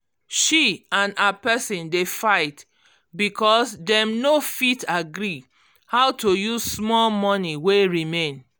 she and her person dey fight because dem no fit agree how to use small money wey remain